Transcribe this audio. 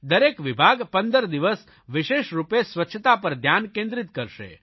દરેક વિભાગ 15 દિવસ વિશેષરૂપે સ્વચ્છતા પર ધ્યાન કેન્દ્રીત કરશે